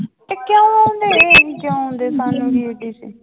ਕਿਉਂ ਉਹਨੇ ਕਿਉਂ